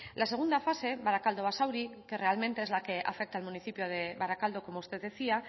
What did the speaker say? la segunda fase barakaldo basauri que realmente es la que afecta al municipio de barakaldo como usted decía